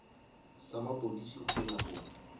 sa mapodisi go ya go